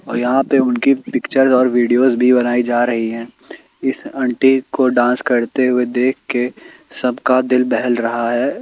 और यहां पे उनकी पिक्चर और वीडियोज भी बनाई जा रही है इस आंटी को डांस करते हुए देखके सबका दिल बहल रहा है।